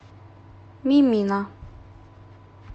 мимино